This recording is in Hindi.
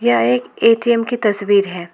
यह एक ए_टी_एम की तस्वीर है।